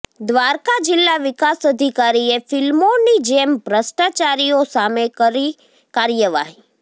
દ્વારકા જિલ્લા વિકાસ અધિકારીએ ફિલ્મોની જેમ ભ્રષ્ટાચારીઓ સામે કરી કાર્યવાહી